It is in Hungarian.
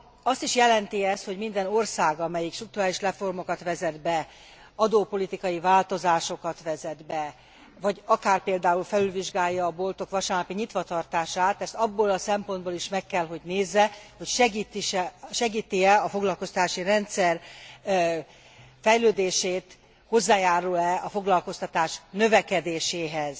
Azt is jelenti ez, hogy minden ország, amelyik strukturális reformokat vezet be, adópolitikai változásokat vezet be, vagy akár például felülvizsgálja a boltok vasárnapi nyitva tartását, ezt abból a szempontból is meg kell, hogy nézze, hogy segíti e a foglalkoztatási rendszer fejlődését, hozzájárul e a foglalkoztatás növekedéséhez.